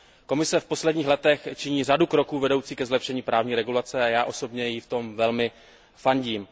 Komise v posledních letech činí řadu kroků vedoucích ke zlepšení právní regulace a já osobně jí v tom velmi fandím.